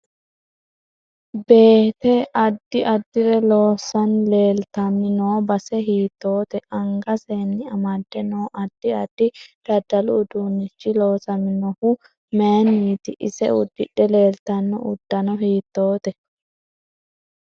Beete addi adire loosani leeltani noo base hiitoote angaseni amadde noo addi addi daddalu uduunichi loosaminohu mayiiniti ise uddidhe leeltanno uddanno hiitoote